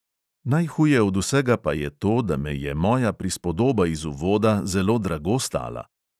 Najhuje od vsega pa je to, da me je moja prispodoba iz uvoda zelo drago stala.